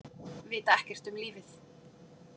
Vita ekkert um lífið.